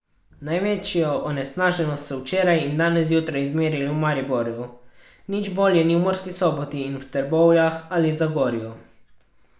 Največjo onesnaženost so včeraj in danes zjutraj izmerili v Mariboru, nič bolje ni v Murski Soboti in v Trbovljah ali Zagorju.